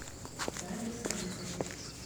дарье салиховой